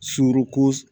Surun